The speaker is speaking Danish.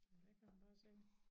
Ja der kan man bare se